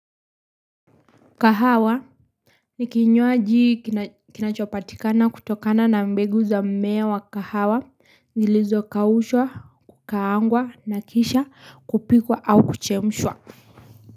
Kahawa Nikinywaji kinachopatikana kutokana na mbegu za mmea wa kahawa, zilizo kaushwa, kukaangwa, nakisha, kupikwa, au kuchemshwa.